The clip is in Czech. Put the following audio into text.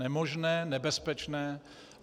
Nemožné, nebezpečné.